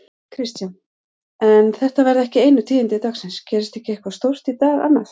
Kristján: En þetta verða ekki einu tíðindi dagsins, gerist ekki eitthvað stórt í dag annað?